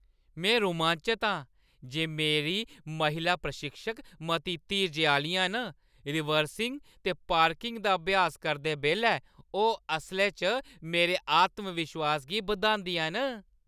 में रोमांचत आं जे मेरी महिला प्रशिक्षक मती धीरजै आह्‌लियां न; रिवर्सिंग ते पार्किंग दा अभ्यास करदे बेल्लै ओह् असलै च मेरे आत्मविश्वास गी बधांदियां न।